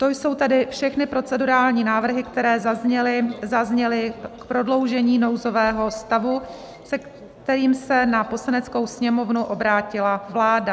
To jsou tedy všechny procedurální návrhy, které zazněly k prodloužení nouzového stavu, se kterým se na Poslaneckou sněmovnu obrátila vláda.